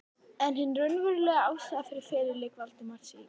En hin raunverulega ástæða fyrir feluleik Valdimars í